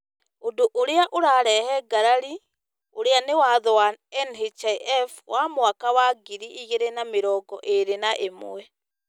Ũndũ ũrĩa ũrarehe ngarari ũrĩa nĩ Watho wa NHIF wa mwaka wa ngiri igĩrĩ na mĩrongo ĩrĩ na ĩmwe ,